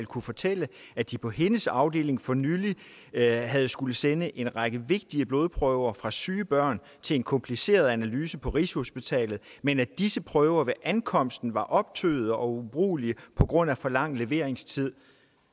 kunne fortælle at de på hendes afdeling for nylig havde havde skullet sende en række vigtige blodprøver fra syge børn til en kompliceret analyse på rigshospitalet men at disse prøver ved ankomsten var optøede og ubrugelige på grund af for lang leveringstid